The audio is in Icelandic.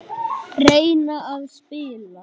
Reyna að spila!